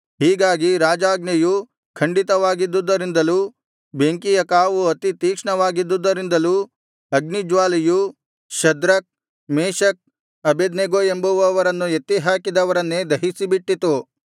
ಹೀಗಾಗಿ ರಾಜಾಜ್ಞೆಯು ಖಂಡಿತವಾಗಿದ್ದುದರಿಂದಲೂ ಬೆಂಕಿಯ ಕಾವು ಅತಿ ತೀಕ್ಷ್ಣವಾಗಿದ್ದುದರಿಂದಲೂ ಅಗ್ನಿಜ್ವಾಲೆಯು ಶದ್ರಕ್ ಮೇಶಕ್ ಅಬೇದ್ನೆಗೋ ಎಂಬುವವರನ್ನು ಎತ್ತಿ ಹಾಕಿದವರನ್ನೇ ದಹಿಸಿಬಿಟ್ಟಿತು